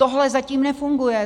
Tohle zatím nefunguje.